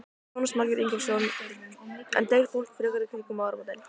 Jónas Margeir Ingólfsson: En deyr fólk frekar í kringum áramótin?